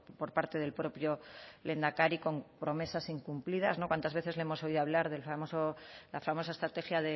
por parte del propio lehendakari con promesas incumplidas cuántas veces le hemos oído hablar del famoso la famosa estrategia